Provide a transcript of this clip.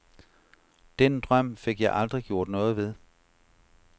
Den drøm fik jeg aldrig gjort noget ved.